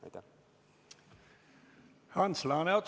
Ants Laaneots, palun!